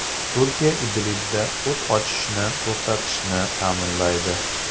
Turkiya Idlibda o‘t ochishni to‘xtatishni ta’minlaydi.